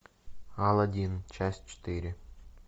алладин часть четыре